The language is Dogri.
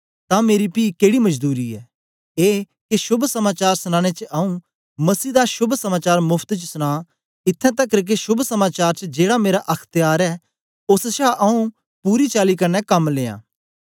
तां मेरी पी केड़ी मजदूरी ऐ ए के शोभ समाचार सनाने च आऊँ मसीह दा शोभ समाचार मोफत च सुनां इत्थैं तकर के शोभ समाचार च जेड़ा मेरा अख्त्यार ऐ ओस छा आऊँ पूरी चाली कन्ने कम लियां